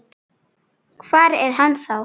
Hvar er hann þá?